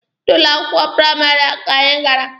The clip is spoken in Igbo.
N'ụlọ akwụkwọ praịmarị a ka anyi gara.